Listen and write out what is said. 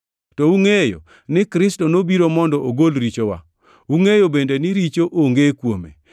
To ungʼeyo ni Kristo nobiro mondo ogol richowa. Ungʼeyo bende ni richo onge kuome.